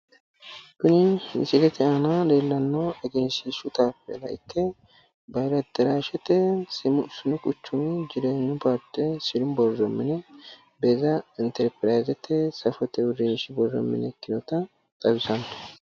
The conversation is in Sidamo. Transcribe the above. Kuni misilete aana leellannohu egenshiishshu tayipeella ikke bahili aderaashshete sinu quchumi jireenyu paarte sinu borro mine beeza interpirayizete safote uurrinshi borro mine ikkinota xawisanno.